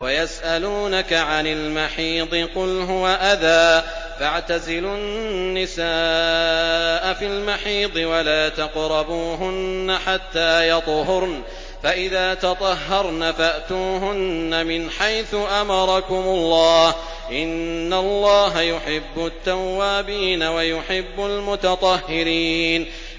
وَيَسْأَلُونَكَ عَنِ الْمَحِيضِ ۖ قُلْ هُوَ أَذًى فَاعْتَزِلُوا النِّسَاءَ فِي الْمَحِيضِ ۖ وَلَا تَقْرَبُوهُنَّ حَتَّىٰ يَطْهُرْنَ ۖ فَإِذَا تَطَهَّرْنَ فَأْتُوهُنَّ مِنْ حَيْثُ أَمَرَكُمُ اللَّهُ ۚ إِنَّ اللَّهَ يُحِبُّ التَّوَّابِينَ وَيُحِبُّ الْمُتَطَهِّرِينَ